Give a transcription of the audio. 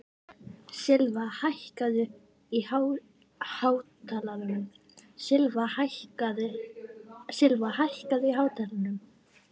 Silfa, hækkaðu í hátalaranum.